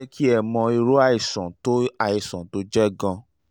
ó máa jẹ́ kẹ́ ẹ mọ irú àìsàn tó àìsàn tó jẹ́ gan-an